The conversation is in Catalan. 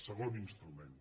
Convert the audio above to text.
segon instrument